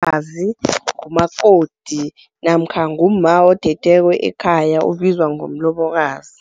Umlobokazi ngumakoti namkha ngumma othethweko ekhaya, ubizwa ngomlobokazi.